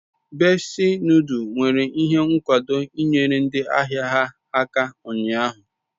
Bessi noduls mere ihe nkwado inyere ndi ahia ha aka unyahu